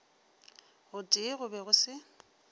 gotee go be go se